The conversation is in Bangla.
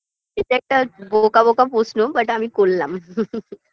এটা একটা বোকা বোকা প্রশ্ন but আমি করলাম